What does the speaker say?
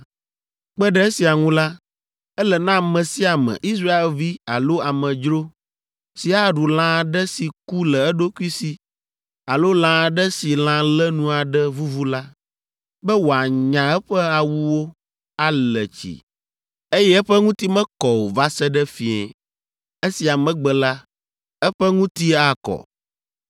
“ ‘Kpe ɖe esia ŋu la, ele na ame sia ame, Israelvi alo amedzro, si aɖu lã aɖe si ku le eɖokui si alo lã aɖe si lã lénu aɖe vuvu la, be wòanya eƒe awuwo, ale tsi, eye eƒe ŋuti mekɔ o va se ɖe fiẽ. Esia megbe la, eƒe ŋuti akɔ.